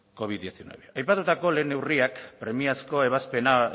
covid hemeretzi aipatutako lehen neurriak premiazko ebazpena